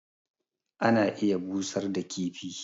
ana iya busar da kifi